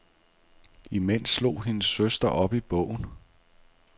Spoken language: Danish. Imens slog hendes søster op i bogen.